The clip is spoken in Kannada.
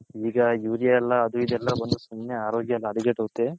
ಈಗ ಅದು ಇದು ಎಲ್ಲಾ ಬಂದು ಸುಮ್ನೆ ಅರೋಗ್ಯ ಎಲ್ಲಾ ಹದಗೆಟ್ ಒಗ್ತಿದೆ.